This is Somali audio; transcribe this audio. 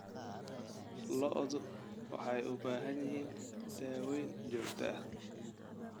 Lo'du waxay u baahan yihiin daaweyn joogto ah.